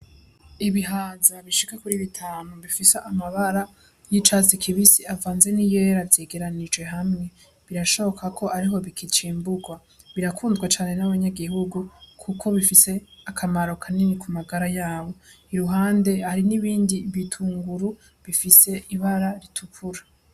Ibihaza bishika kuri bitanu bifise amabara y'icatsi kibisi avanze n'iyera zegeranije hamwe, birashoboka ko ariho bikicimburwa, birakundwa cane n'abanyagihugu kuko bifise akamaro kanini ku magara yabo, iruhande hari n'ibindi bitunguru bifise ibara ritukura.